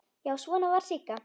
Já, svona var Sigga!